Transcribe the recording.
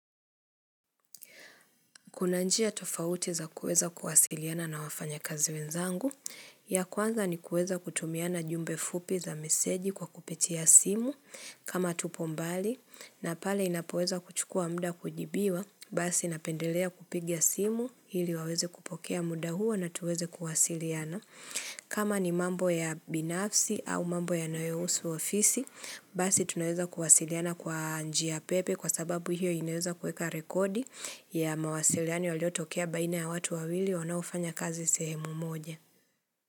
Kuna njia tofauti za kueza kuwasiliana na wafanya kazi wenzangu ya kwanza ni kueza kutumiana jumbe fupi za meseji kwa kupitia simu kama tupombali na pale inapoeza kuchukua mda kujibiwa basi inapendelea kupigia simu hili waweze kupokea muda huo na tuweze kuwasiliana. Kama ni mambo ya binafsi au mambo ya nayousu ofisi Basi tunaeza kuwasiliana kwa njia pepe Kwa sababu hiyo inaweza kueka rekodi ya mawasiliano yaliyotokea baina ya watu wawili wanaofanya kazi sehemu moja.